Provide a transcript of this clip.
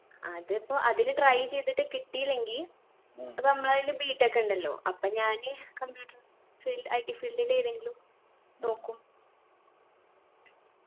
അതിപ്പോ അതില് try ചെയ്തിട്ട് കിട്ടിയില്ലെങ്കി പ്പൊ നമ്മളെ കയ്യില് B. Tech ഇണ്ടല്ലോ അപ്പൊ ഞാന് computer fieldITfeild ൽ ഏതെങ്കിലും നോക്കും